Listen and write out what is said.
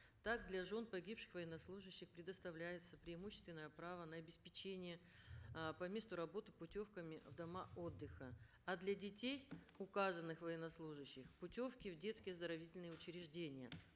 так для жен погибших военнослужащих предоставляется преимущественное право на обеспечение э по месту работы путевками в дома отдыха а для детей указанных военнослужащих путевки в детские оздоровительные учреждения